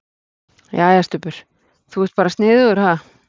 Jæja, Stubbur. þú ert bara sniðugur, ha!